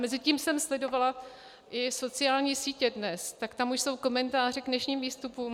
Mezitím jsem sledovala i sociální sítě dnes, tak tam už jsou komentáře k dnešním výstupům.